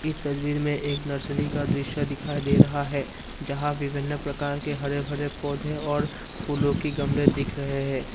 तस्वीर में एक नर्सरी का दृश्य दिखाई दे रहा है यहां विभिन्न प्रकार के हरे भरे पौधे और फूलों की गमले दिख रहे हैं।